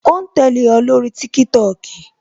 O ń tẹ́lẹ̀ o lórí TikTok